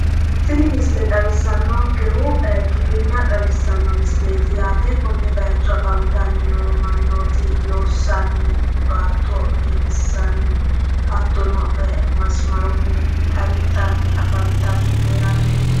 tini misile xawissannonkehu giwirinna xawissano misileeti yaate konne bayiicho afantanni noo mannooti loossanni hattono masamarunni wixa wixxanni afantanni no yaate.